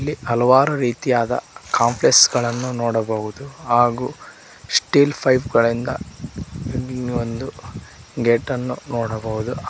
ಹಲವಾರು ರೀತಿಯಾದ ಕಾಂಪ್ಲೆಸ್ ಗಳನ್ನು ನೋಡಬಹುದು ಹಾಗು ಸ್ಟೀಲ್ ಪೈಪ್ ಗಳಿಂದ ಒಂದು ಗೇಟ್ ನ್ನು ನೋಡಬಹುದು.